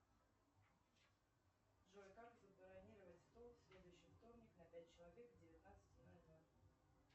джой как забронировать стол в следующий вторник на пять человек к девятнадцати ноль ноль